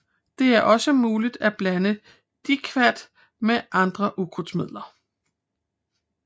Det er også muligt at blande diquat med andre ukrudtsmidler